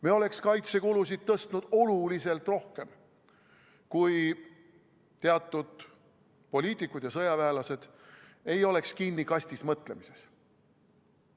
Me oleks kaitsekulusid tõstnud oluliselt rohkem, kui teatud poliitikud ja sõjaväelased ei oleks kinni kasti sees mõtlemises.